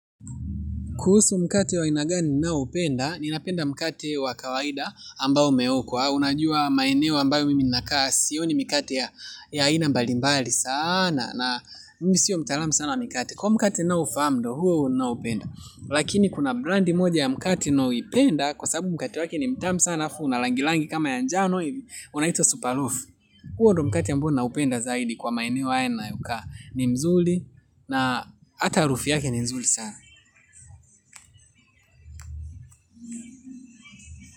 Kuhusu mkate wa aina gani ninao upenda, ninapenda mkate wa kawaida ambao umeokwa, unajua maeneo ambayo mimi ninakaa, sioni mikate ya ina mbalimbali sana, na mimi sio mtalamu sana wa mikate, kwa hiyo mkate ninao ufahamu ndio huo huo ninaoupenda lakini kuna brand moja ya mkate ninao ipenda kwa sababu mkate wake ni mtamu sana halafu una rangi rangi kama ya njano hivi unaitwa super loaf huo ndio mkate ambao nina upenda zaidi kwa maeneo haya ninao kaa ni mzuli na hata harufu yake ni nzuri sana.